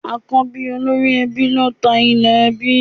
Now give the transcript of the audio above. Àkọ́bí olórí ẹbí ló ta ilẹ̀ ẹbí